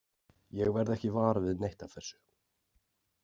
Ég verð ekki var við neitt af þessu.